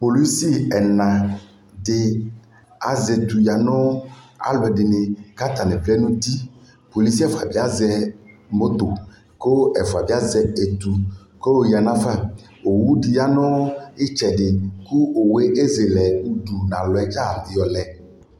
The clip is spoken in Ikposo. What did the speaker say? polisi ɛna di azɛ ɛtʋ yanʋ alʋɛdini kʋ atani vlɛ nʋ ʋti polisi ɛfʋa bi azɛ mɔtɔɔ kʋ ɛfʋa bi azɛ ɛtʋ kʋ ɔya nʋ aɣa, ɔwʋ di yanʋ ɛtsɛdi kʋ ɔwʋɛ ɛzɛlɛ ʋdʋ nʋ alɔ yɔlɛ